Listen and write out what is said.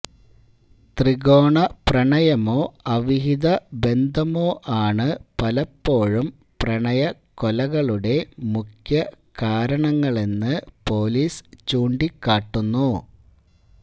ത്രികോണ പ്രണയമോ അവിഹിത ബന്ധമോ ആണു പലപ്പോഴും പ്രണയക്കൊലകളുടെ മുഖ്യകാരണങ്ങളെന്നു പൊലീസ് ചൂണ്ടിക്കാട്ടുന്നു